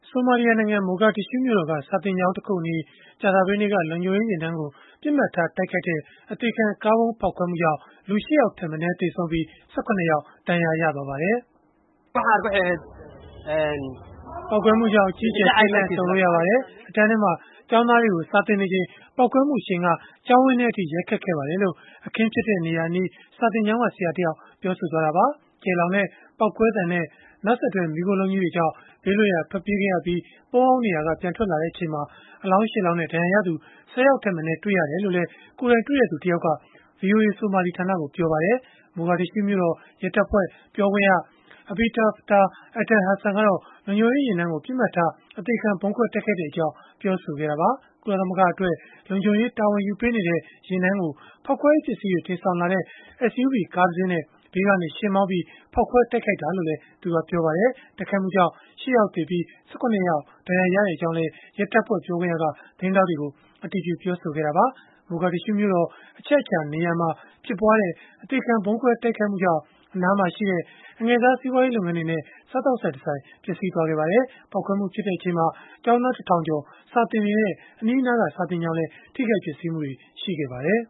ဆိုမာလီယာနိုင်ငံ မိုဂါဒစ်ရှုးမြို့တော်က စာသင်ကျောင်းတခုအနီး ကြာသပတေးနေ့က လုံခြုံရေးယာဉ်တန်းကို ပစ်မှတ်ထား တိုက်ခိုက်တဲ့ အသေခံကားဗုံး ဖောက်ခွဲမှုကြောင့် လူ ၈ ယောက်ထက်မနည်း သေဆုံးပြီး၊ ၁၇ ယောက် ဒဏ်ရာရခဲ့ပါတယ်။ “ပေါက်ကွဲမှုကြောင့် အကြီးအကျယ် ထိတ်လန့်တုန်လှုပ်ခဲ့ရပါတယ်။ အတန်းထဲမှာ ကျောင်းသားတွေကို စာသင်နေချိန်မှာ ပေါက်ကွဲမှု အရှိန်က ကျောင်းဝင်းထဲအထိ ရိုက်ခတ်ခဲ့ပါတယ်။” လို့ အခင်းဖြစ်တဲ့ နေရာအနီး စာသင်ကျောင်းက ဆရာတယောက်က ပြောဆိုသွားတာပါ။ ကျယ်လောင်တဲ့ ပေါက်ကွဲသံနဲ့ နောက်ဆက်တွဲ မီးခိုးလုံးကြီးတွေကြောင့် ဘေးလွတ်ရာ ထွက်ပြေးခဲ့ရပြီး ပုန်းအောင်းနေရာက ပြန်ထွက်လာချိန်မှာ အလောင်း ၈ လောင်းနဲ့ ဒဏ်ရာရသူ ၁၀ ယောက်ထက်မနည်း တွေ့ရတယ်လို့လည်း ကိုယ်တိုင်တွေ့သူ တယောက်က ဗွီအိုအေ ဆိုမာလီဌာနကို ပြောပါတယ်။ မိုဂါဒစ်ရှုးမြို့တော် ရဲတပ်ဖွဲ့ ပြောခွင့်ရ Abdifatah Aden Hassan ကတော့ လုံခြုံရေးယာဉ်တန်းကို ပစ်မှတ်ထား အသေခံဗုံးခွဲတိုက်ခိုက်ခဲ့ကြောင်း ပြောဆိုခဲ့တာပါ။ ကုလသမဂ္ဂအတွက် လုံခြုံရေး တာဝန်ယူပေးနေတဲ့ ယာဉ်တန်းကို ဖောက်ခွဲရေး ပစ္စည်းတွေ တင်ဆောင်လာတဲ့ SUV ကားတစင်းနဲ့ ဘေးကနေယှဉ်မောင်းပြီး ဖောက်ခွဲတိုက်ခိုက်ခဲ့တာလို့လည်း ပြောပါတယ်။ တိုက်ခိုက်မှုကြောင့် ၈ ယောက်သေဆုံးပြီး၊ ၁၇ ယောက် ဒဏ်ရာရခဲ့တယ်လို့လည်း ရဲတပ်ဖွဲ့ ပြောခွင့်ရက သတင်းထောက်တွေကို ပြောခဲ့တာပါ။ မိုဂါဒစ်ရှုးမြို့တော် အချက်အခြာ နေရာမှာ ဖြစ်ပွားခဲ့တဲ့ အသေခံဗုံးခွဲ တိုက်ခိုက်မှုကြောင့် အနားမှာရှိတဲ့ အငယ်စားစီးပွားရေး လုပ်ငန်းတွေနဲ့ စားသောက်ဆိုင်တဆိုင် ပျက်စီးသွားခဲ့ပါတယ်။ ပေါက်ကွဲမှု ဖြစ်ချိန်မှာ ကျောင်းသား ၁ ထောင်ကျော် စာသင်နေတဲ့ အနီးအနားက စာသင်ကျောင်းလည်း ထိခိုက် ပျက်စီးမှုတွေ ရှိခဲ့ပါတယ်